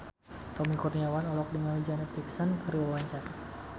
Tommy Kurniawan olohok ningali Janet Jackson keur diwawancara